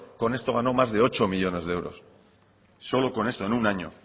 con esto ganó más de ocho millónes de euros solo con esto en un año